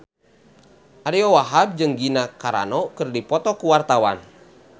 Ariyo Wahab jeung Gina Carano keur dipoto ku wartawan